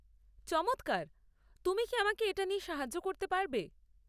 চমৎকার! তুমি কি আমাকে এটা নিয়ে সাহায্য করতে পারবে?